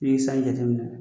I bi san jateminɛ